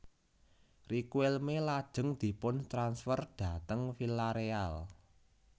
Riquelme lajeng diputransfer dhateng Villareal